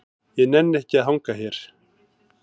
Ég nenni ekki að hanga hér.